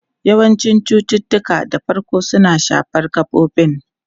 Yawancin cututtuka da farko suna shafar gabobin.